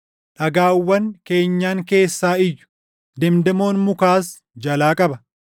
Dhagaawwan keenyan keessaa iyyu; demdemoon mukaas jalaa qaba.